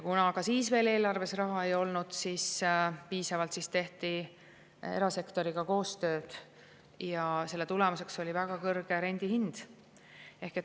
Kuna eelarves raha piisavalt ei olnud, tehti erasektoriga koostööd ja selle tulemuseks oli väga kõrge rendihind.